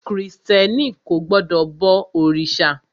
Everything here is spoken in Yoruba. Krìstẹ́ni kò gbọdọ̀ bọ òrìṣà.